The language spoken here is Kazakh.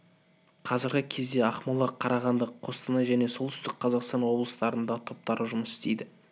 қазіргі кезде ақмола қарағанды қостанай және солтүстік қазақстан облыстарында топтары жұмыс істейді